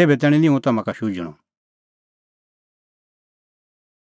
तेभै तैणीं निं हुंह तम्हां का भी शुझणअ